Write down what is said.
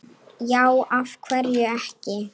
já af hverju ekki